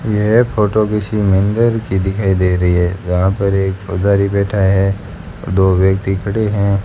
यह फोटो किसी मंदिर की दिखाई दे रही है जहां पर एक पुजारी बैठा है और दो व्यक्ति खड़े हैं।